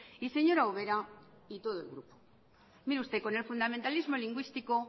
y señora ubera y todo el grupo mire usted con el fundamentalismo lingüístico